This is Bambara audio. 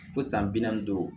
Fo san bi naani ni duuru